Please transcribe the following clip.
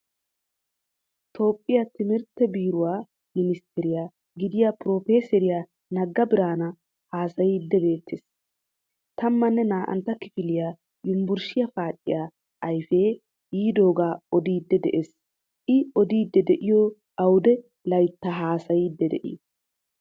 Toophphiyaa timirttee beeruwaa ministtaree gidiya profeseeriya Naga Biranu haasayid beetees. Tammane naa"antta kifiliyaa yunvurshiyaa paaciyaa ayfee yidooga odidi de"ees. I odidi deiyo awudee laytta haasayidi dei?